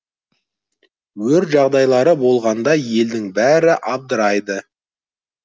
өрт жағдайлары болғанда елдің бәрі абдырайды